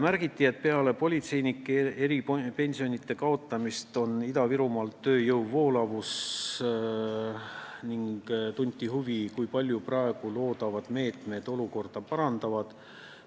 Märgiti, et peale politseinike eripensionite kaotamist on Ida-Virumaal tööjõu voolavus, ning tunti huvi, kui palju praegu loodavad meetmed olukorda parandavad.